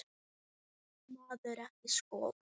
Vildi maðurinn ekki skora?